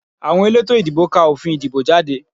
Àwọn elétò ìdìbò ká òfin ìdìbò jáde